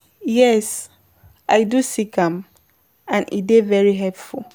Yes, i don seek am, and e dey very helpful.